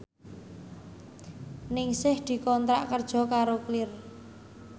Ningsih dikontrak kerja karo Clear